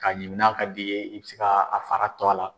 K'a ɲimi n'a ka d'i ye , i bɛ se ka a fara to a la.